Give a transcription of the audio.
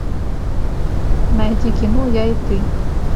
найди кино я и ты